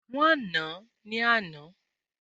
Wọ́n nàá ní àná